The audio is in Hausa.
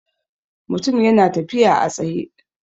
Mutum ya na tafiya a tsaye